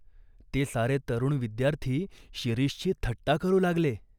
ते सारे तरुण विद्यार्थी शिरीषची थट्टा करू लागले.